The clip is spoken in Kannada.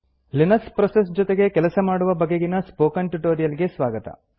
ಲಿನಕ್ಸ್ ಪ್ರೋಸೆಸ್ ಜೊತೆಗೆ ಕೆಲಸ ಮಾಡುವ ಬಗೆಗಿನ ಸ್ಪೋಕನ್ ಟ್ಯುಟೋರಿಯಲ್ ಗೆ ಸ್ವಾಗತ